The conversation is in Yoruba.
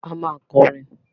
A máa kọrin!